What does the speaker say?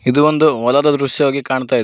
ಇದು ಒಂದು ಹೊಲದ ದೃಶ್ಯವಾಗಿ ಕಾಣುತ್ತಿದೆ.